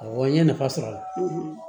Awɔ n ye nafa sɔrɔ a la